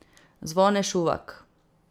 Zvone Šuvak.